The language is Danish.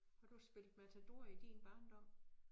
Har du spillet Matador i din barndom?